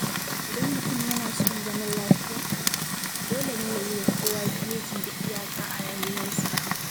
Idan mutum yana son zama lafiya, dole ne ya yiwa kowa geji da iyaka a rayuwarsa.